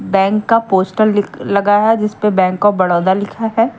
Bank का poster लगा है जिस पे बैंक ऑफ बडोदा लिखा है।